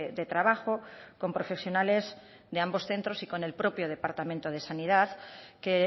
de trabajo con profesionales de ambos centros y con el propio departamento de sanidad que